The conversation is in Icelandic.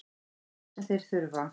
Það er það sem þeir þurfa.